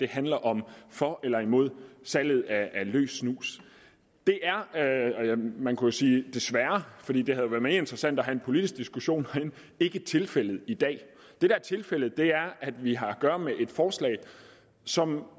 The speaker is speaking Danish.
handler om for eller imod salg af løs snus det er man kunne sige desværre fordi det havde jo været mere interessant at have en politisk diskussion herinde ikke tilfældet i dag det der er tilfældet er at vi har at gøre med et forslag som